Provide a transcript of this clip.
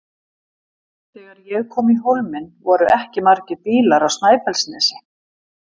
Þegar ég kom í Hólminn voru ekki margir bílar á Snæfellsnesi.